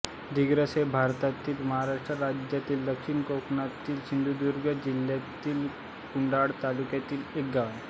दिगस हे भारतातील महाराष्ट्र राज्यातील दक्षिण कोकणातील सिंधुदुर्ग जिल्ह्यातील कुडाळ तालुक्यातील एक गाव आहे